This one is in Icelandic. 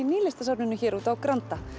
Nýlistasafninu hér úti á Granda